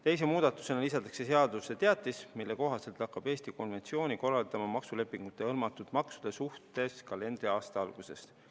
Teise muudatusena lisatakse seadusesse teatis, mille kohaselt hakkab Eesti konventsiooni korraldama maksulepingutega hõlmatud maksude suhtes kalendriaasta algusest.